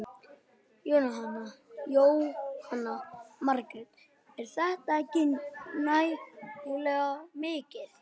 Jóhanna Margrét: Er þetta ekki nægilega mikið?